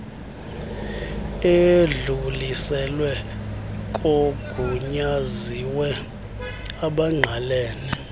edluliselwe kogunyaziwe abangqalene